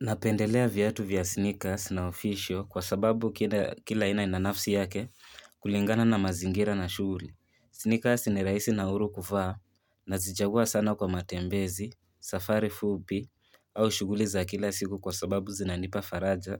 Napendelea viatu vya sneakers na official kwa sababu kila aina ina nafsi yake kulingana na mazingira na shuguli. Sneakers ni raisi na huru kuvaa nazichagua sana kwa matembezi, safari fupi au shuguli za kila siku kwa sababu zinanipa faraja